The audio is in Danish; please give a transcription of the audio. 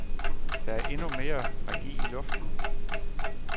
Der er endnu mere magi i luften.